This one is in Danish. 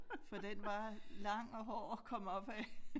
For den var lang og hård at komme op ad